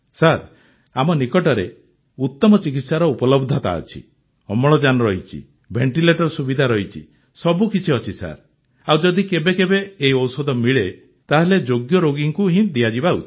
sir ଆମ ନିକଟରେ ଉତମ ଚିକିତ୍ସାର ଉପଲବ୍ଧତା ଅଛି ଅମ୍ଳଜାନ ରହିଛି ଭେଣ୍ଟିଲେଟର୍ର ସୁବିଧା ରହିଛି ସବୁ କିଛି ଅଛି ସାର୍ ଆଉ ଯଦି କେବେ କେବେ ଏହି ଔଷଧ ମିଳେ ତାହେଲେ ଯୋଗ୍ୟ ରୋଗୀଙ୍କୁ ହିଁ ଦିଆଯିବା ଉଚିତ